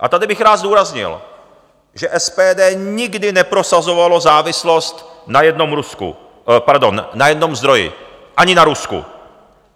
A tady bych rád zdůraznil, že SPD nikdy neprosazovalo závislost na jednom zdroji, ani na Rusku.